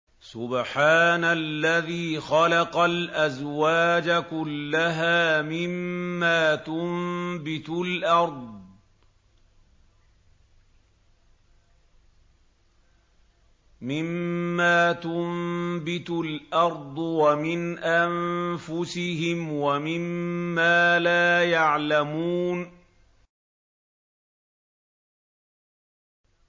سُبْحَانَ الَّذِي خَلَقَ الْأَزْوَاجَ كُلَّهَا مِمَّا تُنبِتُ الْأَرْضُ وَمِنْ أَنفُسِهِمْ وَمِمَّا لَا يَعْلَمُونَ